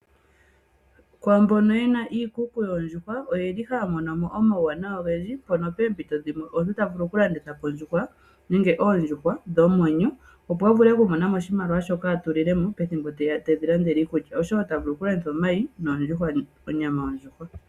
Kwaambono yena iikuku yoondjuhwa oyeli haya mono mo omauwanawa ogendji mpono poompito dhimwe omuntu tavulu oku landitha po ondjuhwa nenge oondjuhwa dhomwenyo opo a vule okumona mo oshimaliwa shoka a tulile mo pethimbo ndiya ali tedhi landele iikulya oshowo tavulu oku landitha omayi noondjuhwa, onyama yondjuhwa.